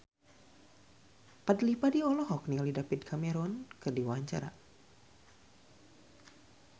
Fadly Padi olohok ningali David Cameron keur diwawancara